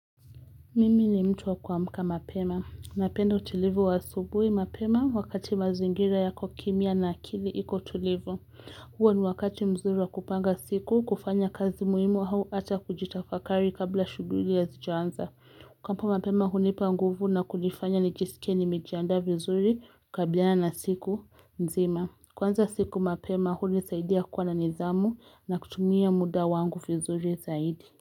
Mimi ni mtu wa kuamka mapema. Napenda utulivu wa asubuhi mapema wakati mazingira yako kimya na akili iko tulivu. Huo ni wakati mzuri wa kupanga siku, kufanya kazi muhimu hau ata kujitafakari kabla shughuli hazijaanza. Kuamka mapema hunipa nguvu na kunifanya nijisike nimejiaanda vizuri kukabliana na siku nzima. Kuanza siku mapema hunisaidia kuwa na nizamu na kutumia muda wangu vizuri zaidi.